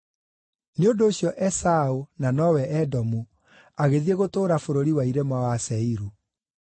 Nĩ ũndũ ũcio Esaũ (na nowe Edomu) agĩthiĩ gũtũũra bũrũri wa irĩma wa Seiru.